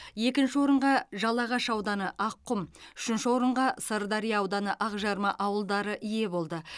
екінші орынға жалағаш ауданы аққұм үшінші орынға сырдария ауданы ақжарма ауылдары ие болды